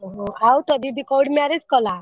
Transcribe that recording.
ଓହୋ ଆଉ ତୋ ଦିଦି କୋଉଠି marriage କଲା?